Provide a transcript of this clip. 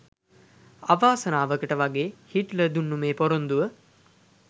අවාසනාවකට වගේ හිට්ලර් දුන්න මේ පොරොන්දුව